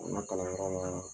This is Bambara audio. Ka n ka kalan yɔrɔ laa